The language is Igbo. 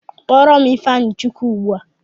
Kpọrọ m ịfeanyịchukwu ugbua!